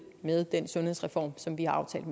med den sundhedsreform som vi har aftalt